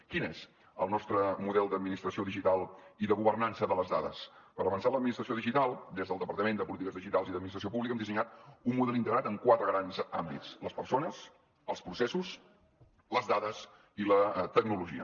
quin és el nostre model d’administració digital i de governança de les dades per avançar en l’administració digital des del departament de polítiques digitals i administració pública hem dissenyat un model integrat en quatre grans àmbits les persones els processos les dades i la tecnologia